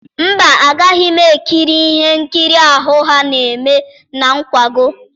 Mba, agaghị m ekiri ihe nkiri ahụ ha na-eme na nkwago.